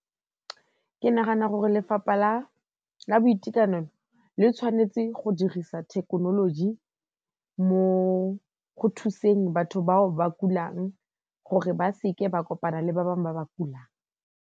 Ke nagana gore Lefapha la Boitekanelo le tshwanetse go dirisa thekenoloji mo go thuseng batho bao ba kulang gore ba seke ba kopana le ba bangwe ba ba kulang.